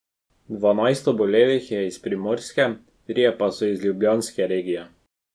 Dvanajst obolelih je iz primorske, trije pa so iz ljubljanske regije.